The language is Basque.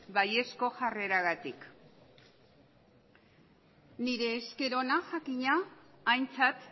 baiezko jarreragatik nire esker ona jakina aintzat